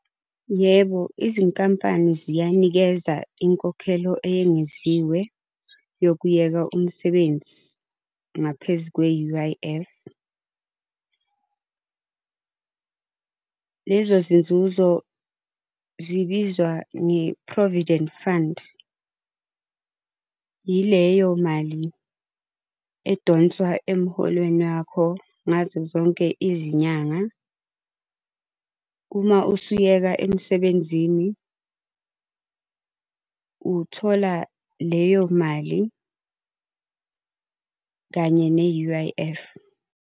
Yebo, izinkampani ziyanikeza inkokhelo eyengeziwe, yokuyeka umsebenzi ngaphezu kwe-U_I_F . Lezo zinzuzo zibizwa nge-Provident Fund. Ileyo mali edonswa emuholweni wakho ngazo zonke izinyanga. Uma usuyeka emsebenzini, uthola leyo mali kanye ne-U_I_F.